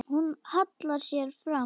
Hún hallar sér fram.